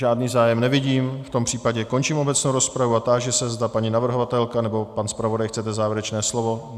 Žádný zájem nevidím, v tom případě končím obecnou rozpravu a táži se, zda paní navrhovatelka nebo pan zpravodaj chcete závěrečné slovo.